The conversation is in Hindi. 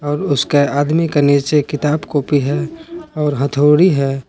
और उसके आदमी का नीचे किताब कॉपी है और हथौड़ी है।